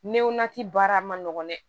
Newa ti baara ma nɔgɔn dɛ